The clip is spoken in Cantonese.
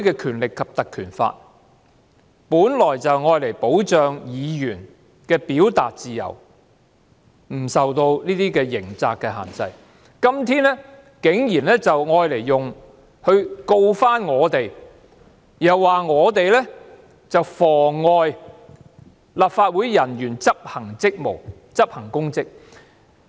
《條例》本來就是用以保障議員的表達自由不受刑責的限制，今天竟然用作控告我們，又說我們妨礙立法會人員執行職務，執行公職。